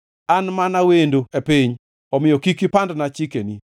An mana wendo e piny omiyo kik ipandna chikeni.